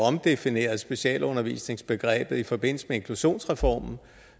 omdefinerede specialundervisningsbegrebet i forbindelse med inklusionsreformen